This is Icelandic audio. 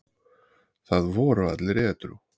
Það voru allir edrú.